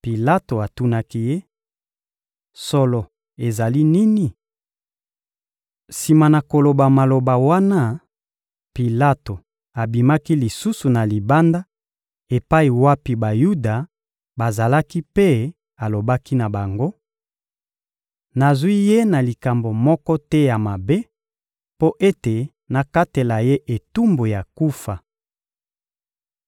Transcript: Pilato atunaki Ye: — Solo ezali nini? Sima na koloba maloba wana, Pilato abimaki lisusu na libanda epai wapi Bayuda bazalaki mpe alobaki na bango: — Nazwi ye na likambo moko te ya mabe mpo ete nakatela ye etumbu ya kufa.